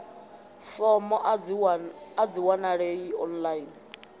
fomo a dzi wanalei online